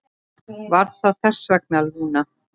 Var það þess vegna, Lúna?